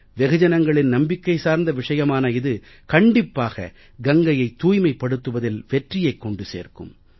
வெகுஜனங்களின் நம்பிக்கை சார்ந்த விஷயமான இது கண்டிப்பாக கங்கையைத் தூய்மைப்படுத்துவதில் வெற்றியைக் கொண்டு சேர்க்கும்